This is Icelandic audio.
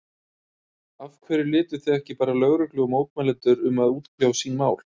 Af hverju létuð þið ekki bara lögreglu og mótmælendur um að útkljá sín mál?